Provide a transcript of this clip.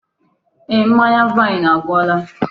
Eeh, mmanya vaini agwụla.